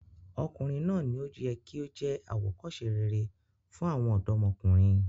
Ọkùnrin náà ni ó yẹ kí ó jẹ́ àwòkọ́se rere fún àwọn ọ̀dọ́mọkùnrin.